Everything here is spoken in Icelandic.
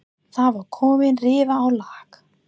Það var komin rifa á lak.